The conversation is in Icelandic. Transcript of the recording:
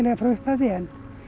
frá upphafi en